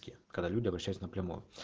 ке когда люди обращаются напрямую